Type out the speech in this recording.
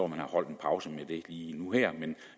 man har holdt en pause med det lige nu her men